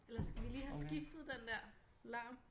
Eller skal vi lige have skiftet den dér larm